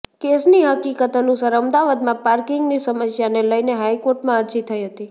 કેસની હકીકત અનુસાર અમદાવાદમાં પાર્કિંગની સમસ્યાને લઈને હાઈકોર્ટમાં અરજી થઈ હતી